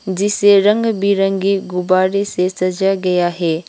जिसे रंग बिरंगे गुब्बारे से सजा गया है।